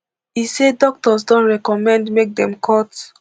e say doctors don recommend make dem cut